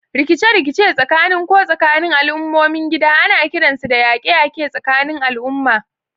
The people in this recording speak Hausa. Rikice-rikice tsakanin ko tsakanin al'ummomin gida ana kiransu da yaƙe-yaƙe tsakanin al'umma.